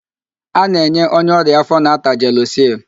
A na-enye onye ọrịa áfó na-ata jelusịl.